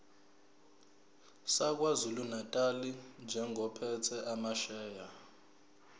sakwazulunatali njengophethe amasheya